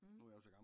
Mhm